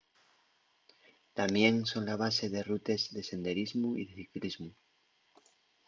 tamién son la base de rutes de senderismu y de ciclismu